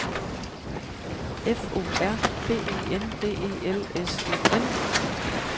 F O R B I N D E L S E N